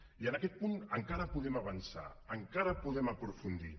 i en aquest punt encara podem avançar encara hi podem aprofundir